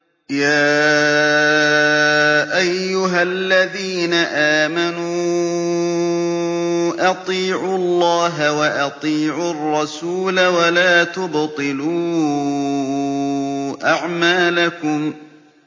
۞ يَا أَيُّهَا الَّذِينَ آمَنُوا أَطِيعُوا اللَّهَ وَأَطِيعُوا الرَّسُولَ وَلَا تُبْطِلُوا أَعْمَالَكُمْ